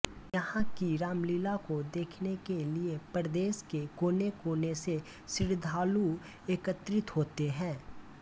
यहां की रामलीला को देखने के लिए प्रदेश के कोनेकोने से श्रृद्धालु एकत्रित होते हैं